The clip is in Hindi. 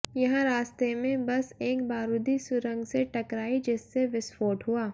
यहां रास्ते में बस एक बारूदी सुरंग से टकराई जिससे विस्फोट हुआ